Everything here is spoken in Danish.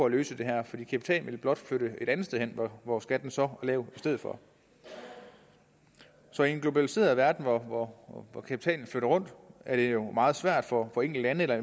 løse det her for kapitalen vil blot flytte et andet sted hen hvor skatten så er lav i stedet for så i en globaliseret verden hvor kapitalen flytter rundt er det jo meget svært for for enkeltlande eller